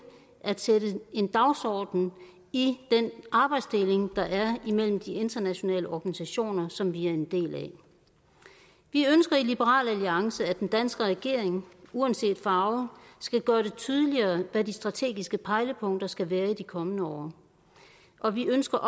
at sætte en dagsorden i den arbejdsdeling der er imellem de internationale organisationer som vi er en del af vi ønsker i liberal alliance at den danske regering uanset farve skal gøre det tydeligere hvad de strategiske pejlepunkter skal være i de kommende år og vi ønsker